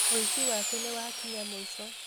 ũici wake nĩwakinya mũico